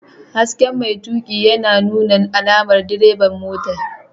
Hasken mai tuƙi yana nuna alamar direban motar.